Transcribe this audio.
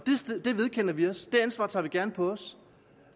det vedkender vi os det ansvar tager vi gerne på os